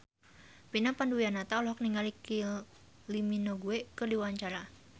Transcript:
Vina Panduwinata olohok ningali Kylie Minogue keur diwawancara